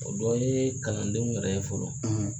O dɔ ye kalandenw yɛrɛ fɔlɔ.